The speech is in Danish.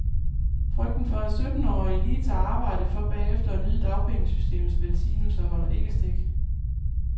Frygten for, at syttenårige lige tager arbejde for bagefter at nyde dagpengesystemets velsignelser, holder ikke stik.